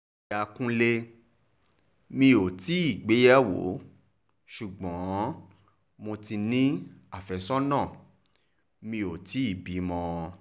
lọ́yà kúnlemí ò tí ì gbéyàwó ṣùgbọ́n mo ti ní àfẹ́sọ́nà mi ò tì í bímọ